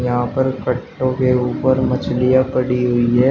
यहां पर कट्टो के ऊपर मछलियां पड़ी हुई है।